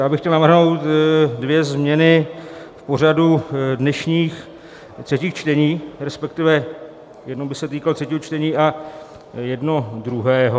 Já bych chtěl navrhnout dvě změny v pořadu dnešních třetích čtení, respektive jedno by se týkalo třetího čtení a jedno druhého.